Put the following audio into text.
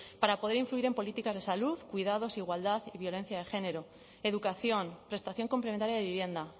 para poder influir en políticas de salud cuidados igualdad y violencia de género educación prestación complementaria de vivienda